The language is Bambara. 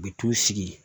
U bɛ t'u sigi yen